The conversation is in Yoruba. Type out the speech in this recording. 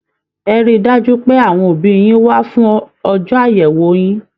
Ẹ̀ rí dájú pé àwọn òbí yín wá fún ọjọ àyẹwò yín!